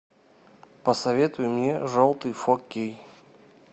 посоветуй мне желтый фор кей